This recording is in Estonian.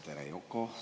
Tere, Yoko!